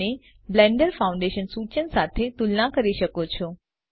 અને blender foundation સૂચન સાથે તુલના કરી શકો છો